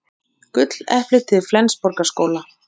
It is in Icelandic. Gulleplið til Flensborgarskóla